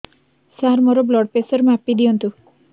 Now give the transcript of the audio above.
ସାର ମୋର blood pressure ମାପି ଦିଅନ୍ତୁ